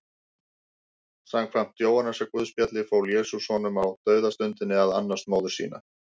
Samkvæmt Jóhannesarguðspjalli fól Jesús honum á dauðastundinni að annast móður sína.